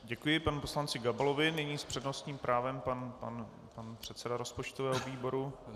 Děkuji panu poslanci Gabalovi, nyní s přednostním právem pan předseda rozpočtového výboru.